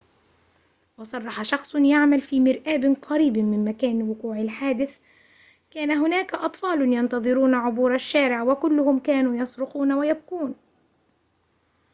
وصرح شخصٌ يعمل في مرآبٍ قريب من مكان وقوع الحادث كان هناك أطفالٌ ينتظرون عبور الشارع وكلهم كانوا يصرخون ويبكون